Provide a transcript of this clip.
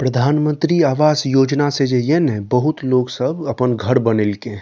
प्रधानमंत्री आवास योजना से जे ये ना बहुत लोग सब अपन घर बनेएलके ये।